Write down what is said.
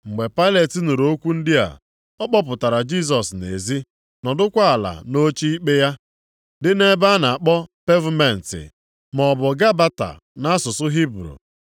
Mgbe Pailet nụrụ okwu ndị a, ọ kpọpụtara Jisọs nʼezi, nọdụkwa ala nʼoche ikpe ya dị nʼebe a na-akpọ Pevumentị (maọbụ Gabata nʼasụsụ Hibru).